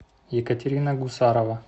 екатерина гусарова